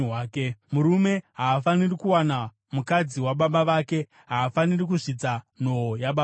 Murume haafaniri kuwana mukadzi wababa vake; haafaniri kuzvidza nhoo yababa vake.